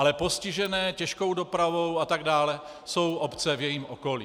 Ale postižené těžkou dopravou atd. jsou obce v jejím okolí.